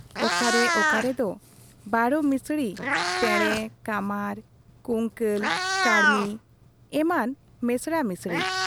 ᱚᱠᱟ ᱨᱮ ᱚᱠᱟᱨᱮ ᱫᱚ ᱵᱚᱨᱚᱢᱤᱥᱨᱤ ᱯᱮᱬᱮ, ᱠᱟᱢᱟᱨ, ᱠᱩᱝᱠᱟᱹᱞ, ᱠᱟᱲᱢᱤ ᱮᱢᱟᱱ ᱢᱮᱥᱬᱟ ᱢᱤᱬᱥᱤ ᱾